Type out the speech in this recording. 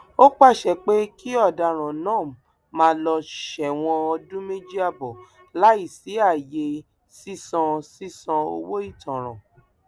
ó pàṣẹ pé kí ọdaràn náà máa lọ sẹwọn ọdún méjì ààbọ láì ṣí ààyè sísan sísan owó ìtanràn